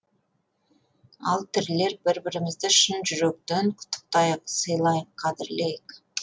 ал тірілер бір бірімізді шын жүректен құттықтайық сыйлайық қадірлейік